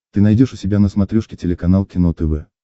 ты найдешь у себя на смотрешке телеканал кино тв